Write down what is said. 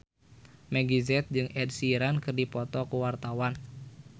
Meggie Z jeung Ed Sheeran keur dipoto ku wartawan